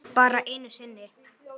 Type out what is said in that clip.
Bara einu sinni?